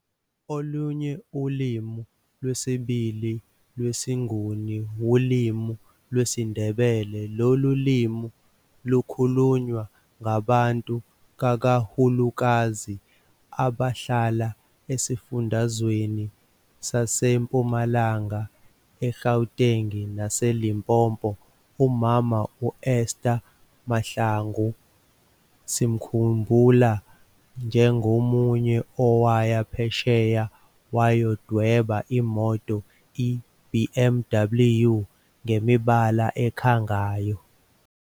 Olunye ulimi lwesibili lwesiNguni wulimi lwesiNdebele, lolu limi lukhulunywa ngabantu kakahulukazi abahlala esifundazweni saseMpumalanga, eGauteng naseLimpopo. Umama u-Esther Mahlangu sizomkhumbula njengomunye owaya phesheya wayodweba imoto i-BMW ngemibala ekhangayo.